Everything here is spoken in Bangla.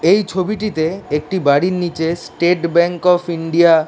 এই ছবিটিতে একটি বাড়ির নিচে স্টেট ব্যাংক অফ ইন্ডিয়া --